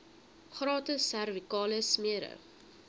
gratis servikale smere